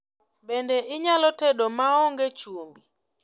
Bende inyalo tedo maonge chumbi?